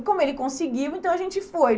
E como ele conseguiu, então a gente foi.